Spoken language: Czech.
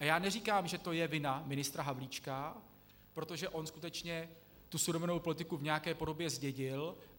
A já neříkám, že je to vina ministra Havlíčka, protože on skutečně tu surovinovou politiku v nějaké podobě zdědil.